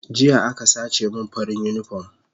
Jiya aka sace min farin unipom